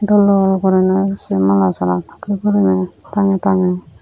dol dol guriney sey mala sora dokkey guriney tangey tangey.